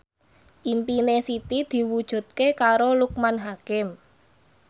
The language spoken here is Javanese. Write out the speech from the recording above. impine Siti diwujudke karo Loekman Hakim